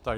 Ano.